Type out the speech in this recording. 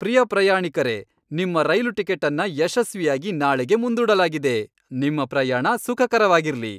ಪ್ರಿಯ ಪ್ರಯಾಣಿಕರೇ, ನಿಮ್ಮ ರೈಲು ಟಿಕೆಟನ್ನ ಯಶಸ್ವಿಯಾಗಿ ನಾಳೆಗೆ ಮುಂದೂಡಲಾಗಿದೆ. ನಿಮ್ಮ ಪ್ರಯಾಣ ಸುಖಕರವಾಗಿರ್ಲಿ!